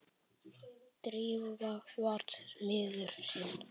Drífa var miður sín.